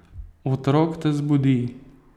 Otrok te zbudi.